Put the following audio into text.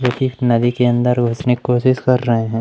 जो कि इस नदी के अंदर उसमें कोशिश कर रहे हैं।